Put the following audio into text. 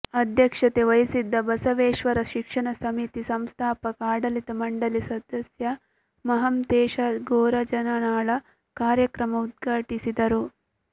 ಅಧ್ಯಕ್ಷತೆ ವಹಿಸಿದ್ದ ಬಸವೇಶ್ವರ ಶಿಕ್ಷಣ ಸಮಿತಿ ಸಂಸ್ಥಾಪಕ ಆಡಳಿತ ಮಂಡಳಿ ಸದಸ್ಯ ಮಹಾಂ ತೇಶ ಗೊರಜನಾಳ ಕಾರ್ಯಕ್ರಮ ಉದ್ಘಾಟಿ ಸಿದರು